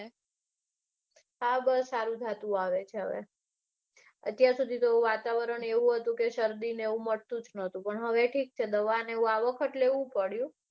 હા બસ સારું થતું આવે છે હવે. અત્યારે સુધી તો વાતાવરણ એવું હતું કે શરદીને એવું મટતું જ નતું પણ હવે ઠીક છે દાવાને એ બધું આ વખત લેવું પડ્યું.